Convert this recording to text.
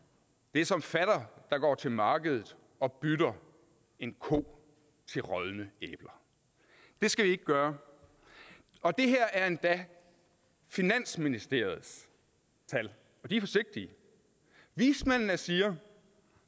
det er som fatter der går til markedet og bytter en ko til rådne æbler det skal vi ikke gøre og det her er endda finansministeriets tal og de er forsigtige vismændene siger